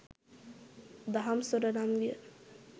දහම්සොඬ නම් විය.